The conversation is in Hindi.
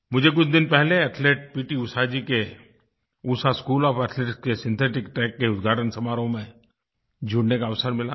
मुझे कुछ दिन पहले athlete P T Usha ji के उषा स्कूल ओएफ एथलेटिक्स के सिंथेटिक ट्रैक के उद्घाटन समारोह में जुड़ने का अवसर मिला था